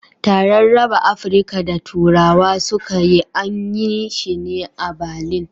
Taran raba Afrika da turawa suka yi, an yi shi ne a Batlin